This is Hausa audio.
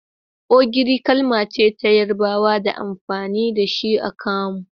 Ogiri kalmace ta yarabawa da amfani da shi a kamu.